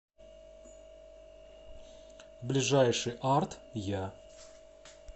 ближайший арт я